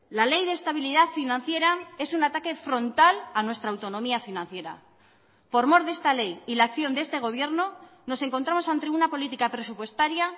la ley de estabilidad financiera es un ataque frontal a nuestra autonomía financiera por mor de esta ley y la acción de este gobierno nos encontramos ante una política presupuestaria